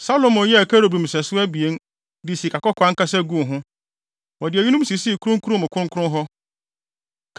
Salomo yɛɛ kerubim sɛso abien, de sikakɔkɔɔ ankasa guu ho. Wɔde eyinom sisii Kronkron mu Kronkron hɔ.